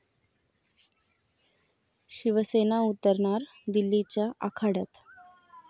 शिवसेना उतरणार दिल्लीच्या आखाड्यात